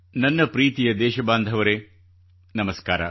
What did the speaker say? ನನ್ನ ಪ್ರೀತಿಯ ದೇಶಬಾಂಧವರೇ ನಮಸ್ಕಾರ